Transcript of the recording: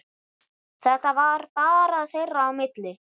Þetta var bara þeirra á milli.